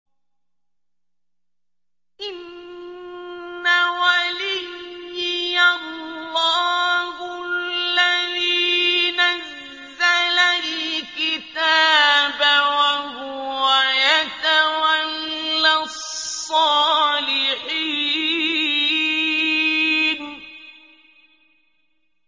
إِنَّ وَلِيِّيَ اللَّهُ الَّذِي نَزَّلَ الْكِتَابَ ۖ وَهُوَ يَتَوَلَّى الصَّالِحِينَ